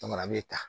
a bɛ ta